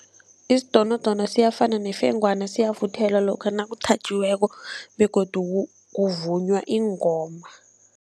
Isidonodono siyafana nefengwana, siyavuthelwa lokha nakuthatjiweko begodu kuvunywa iingoma.